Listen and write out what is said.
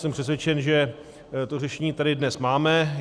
Jsem přesvědčen, že to řešení tady dnes máme.